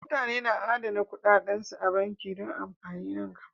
Mutane na adana kuɗaɗansu a banki don amfanin nan gaba.